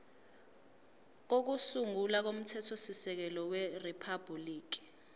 kokusungula komthethosisekelo weriphabhuliki